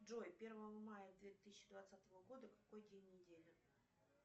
джой первого мая две тысячи двадцатого года какой день недели